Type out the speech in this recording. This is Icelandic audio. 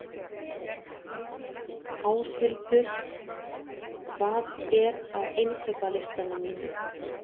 Áshildur, hvað er á innkaupalistanum mínum?